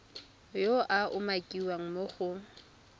yo a umakiwang mo go